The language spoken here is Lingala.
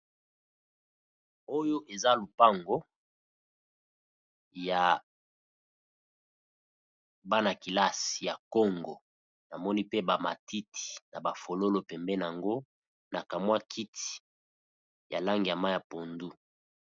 Oyo eza lopango ya bana-kilasi ya kongo, namoni pe ba matiti na ba fololo pembeni nango na ka mwa kiti ya langi ya mayi ya pondu.